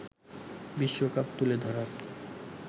বিশ্বকাপ তুলে ধরার